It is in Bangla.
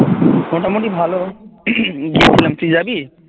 মোটামুটি ভালো দেখলাম তুই যাবি?